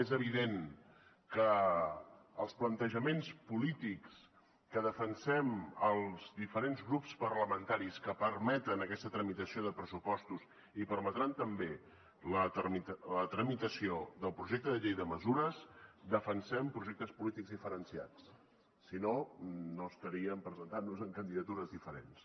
és evident que els plantejaments polítics que defensem els diferents grups parlamentaris que permeten aquesta tramitació de pressupostos i permetran també la tramitació del projecte de llei de mesures defensem projectes polítics diferenciats si no no estaríem presentant nos en candidatures diferents